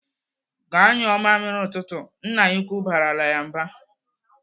"Gaa nyụọ mamịrị ụtụtụ!" Nne ya ukwu barala ya mba.